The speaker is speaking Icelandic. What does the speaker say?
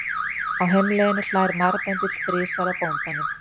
Á heimleiðinni hlær marbendill þrisvar að bóndanum.